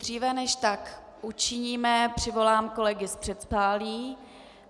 Dříve než tak učiníme, přivolám kolegy z předsálí.